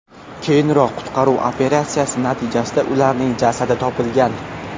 Keyinroq qutqaruv operatsiyasi natijasida ularning jasadi topilgan.